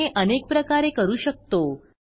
आपण हे अनेक प्रकारे करू शकतो